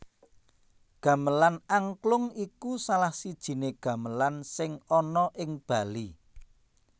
Gamelan Angklung iku salah sijining gamelan sing ana ing Bali